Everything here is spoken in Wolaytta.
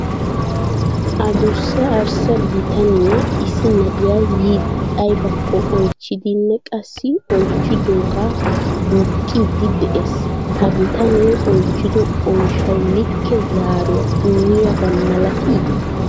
Asdussa, arssa bitaniya issi na'ay yiidi aybbakko oychchidinne qassi oychchidooga duuqidi de'ees. Ha bitanee oychchido oyshshaw like zaaruwa immiyaaba malatii?